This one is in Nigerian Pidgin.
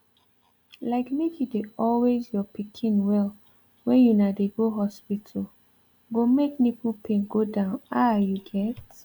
like make you dey always your pikin well when una dey go hospital go make nipple pain go down ah you get